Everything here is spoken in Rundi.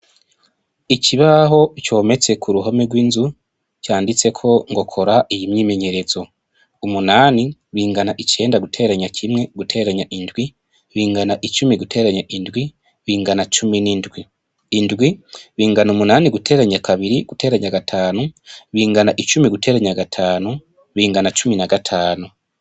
Ikibaho cometse ku ruhome rw'inzu , canditseko ngo kora iyi myimenyerezo , umunani bingana icenda guteranya kimwe guteranya indwi bingana icumi guteranya indwi bingana na cumi n'indwi , Indwi bingana umunani guteranya kabiri guteranya gatanu bingana icumi guteranya gatanu bingana na cumi na gatanu.